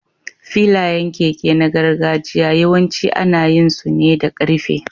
Filayen keke na gargajiya yawanci ana yin su ne da ƙarfe.